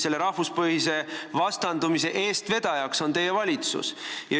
Selle rahvuspõhise vastandumise eestvedajaks on teie valitsus.